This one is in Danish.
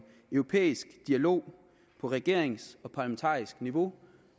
europæisk dialog på regerings og parlamentarisk niveau